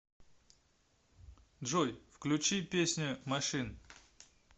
джой включи песня машин